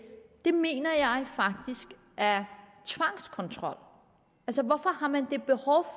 det mener jeg faktisk er tvangskontrol hvorfor har man det behov